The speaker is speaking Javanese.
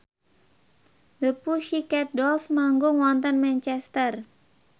The Pussycat Dolls manggung wonten Manchester